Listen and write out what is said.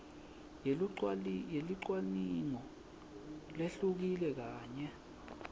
yelucwaningo lehlukile kanye